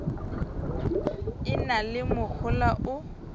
e na le mohola o